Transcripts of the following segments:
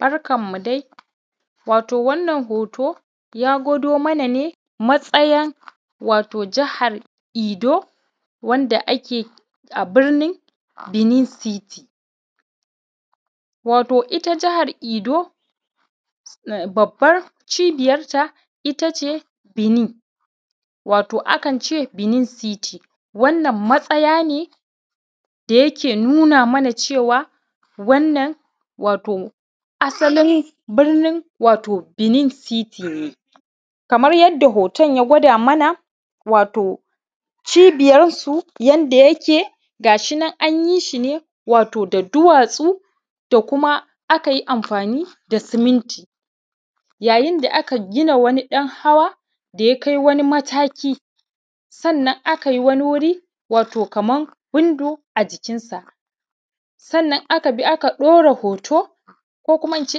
Barkanmu dai. Wato wannan hoto, ya gwado mana ne matsayan wato jihar Edo, wanda ake a birnin Benin City. Wato ita jihar Edo, babbar cibiyarta ita ce Benin, wato akan ce Benin City. Wannan matsaya ne da yake nuna mana cewa, wannan wato asalin birnin wato Benin City ne. kamar yadda hoton ya gwada mana, wato cibiyarsu, yanda yake, ga shi nan an yi shi ne, wato da duwatsu, da kuma aka yi amfani da siminti. Yayin da aka gina wani ɗan hawa, da ya kai wani mataki, sannan aka yi wani wuri, wato kaman window a jikinsa. Sannan aka bi aka ɗora hoto, ko kuma in ce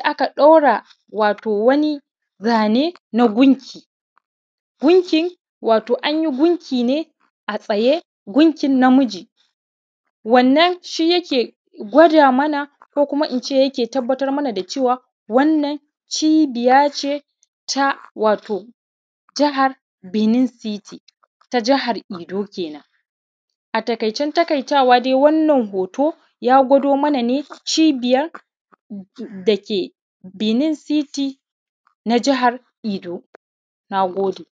aka ɗora wato wani zane na gunki. Gunki, wato an yi gunki ne, a tsaye, gunkin namiji. Wannan shi yake gwada mana ko kuma in ce ake tabbatar mana da cewa, wannan cibiya ce ta, wato jihar Benin City, ta jihar Edo kenan. A taƙaicen taƙaitawa dai wannan hoto, ya gwado mana ne cibiyar da ke Benin City na jihar Edo. Na gode.